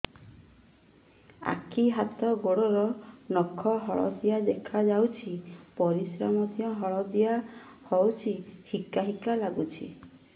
ଆଖି ହାତ ଗୋଡ଼ର ନଖ ହଳଦିଆ ଦେଖା ଯାଉଛି ପରିସ୍ରା ମଧ୍ୟ ହଳଦିଆ ହଉଛି ହିକା ହିକା ଲାଗୁଛି